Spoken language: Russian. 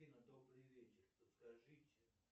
афина добрый вечер подскажите